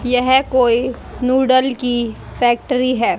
यह कोई नूडल की फैक्ट्री है।